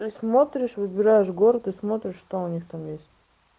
ты смотришь выбираешь город и смотришь что у них там есть